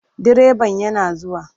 Direban yana zuwa.